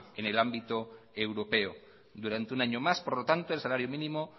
en el ámbito europeo durante un año más por lo tanto el salario mínimo